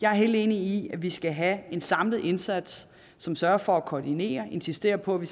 jeg er helt enig i at vi skal have en samlet indsats som sørger for at koordinere insisterer på at vi